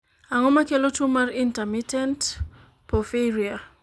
ang'o makelo tuo mar intermittent porphyria?